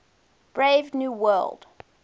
brave new world